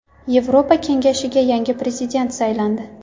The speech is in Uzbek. Yevropa Kengashiga yangi prezident saylandi.